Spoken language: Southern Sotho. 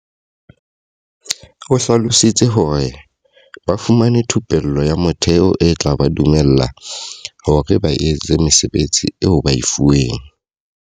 O hlalositse hore. Ba fumane thupello ya motheo e tla ba dumella hore ba etse mesebetsi eo ba e fuweng.